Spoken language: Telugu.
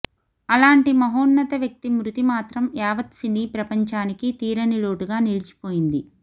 అలాంటి మహోన్నత వ్యక్తి మృతి మాత్రం యావత్ సినీ ప్రపంచానికి తీరని లోటుగా నిలిచిపోయింది